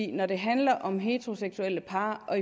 når det handler om heteroseksuelle par og